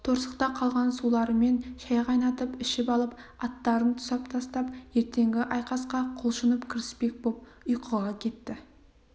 торсықта қалған суларымен шай қайнатып ішіп алып аттарын тұсап тастап ертеңгі айқасқа құлшынып кіріспек боп ұйқыға кетті